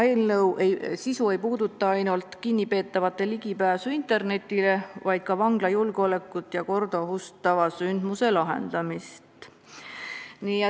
Eelnõu sisu ei puuduta ainult kinnipeetavate ligipääsu internetile, vaid ka vangla julgeolekut ja korda ohustava sündmuse lahendamist.